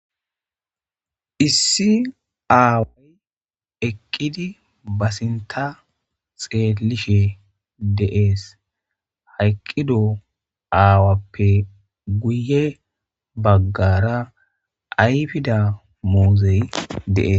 Issi aaway eqqidi ba sinta xeelishe deees hayqqido aawappe guye baggara ayfida muuzey deees.